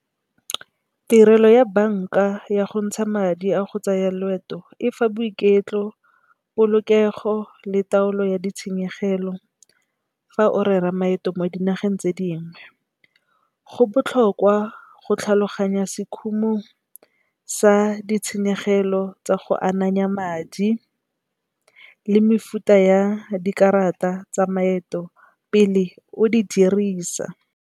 Tirelo ya banka ya go ntsha madi a go tsaya loeto efa boiketlo, polokego le taolo ya ditshenyegelo fa o rera maeto mo dinageng tse dingwe. Go botlhokwa go tlhaloganya sekhumo sa ditshenyegelo tsa go ananya madi le mefuta ya dikarata tsa maeto pele o di dirisa.